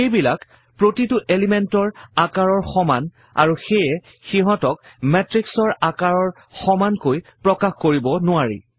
সেইবিলাক প্ৰতিটো element ৰ আকাৰৰ সমান আৰু সেয়ে সিহঁতক matrix ৰ আকাৰ সমানকৈ প্ৰকাশ কৰিব নোৱাৰি